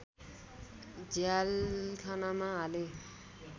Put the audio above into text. झ्यालखानामा हाले